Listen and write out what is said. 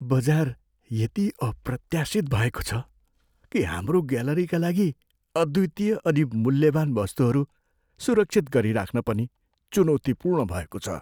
बजार यति अप्रत्याशित भएको छ कि हाम्रो ग्यालरीका लागि अद्वितीय अनि मूल्यवान वस्तुहरू सुरक्षित गरिराख्न पनि चुनौतीपूर्ण भएको छ।